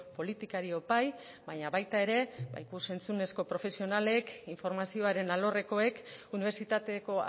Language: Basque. politikariok bai baina baita ere ikus entzunezko profesionalek informazioaren alorrekoek unibertsitateko